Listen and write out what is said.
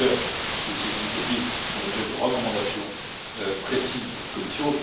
Plusieurs de ces initiatives font l'objet de recommandations précises de votre commission.